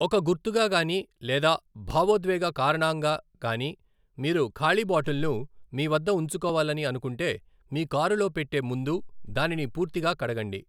ఒక గుర్తుగా గానీ లేదా భావోద్వేగ కారణాంగా గానీ మీరు ఖాళీ బాటిల్ను మీ వద్ద ఉంచుకోవాలని అనుకుంటే, మీ కారులో పెట్టే ముందు దానిని పూర్తిగా కడగండి.